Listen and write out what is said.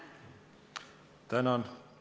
Tänan!